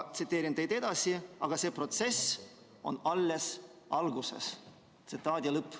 " Tsiteerin teid edasi: "Aga see protsess on alles alguses.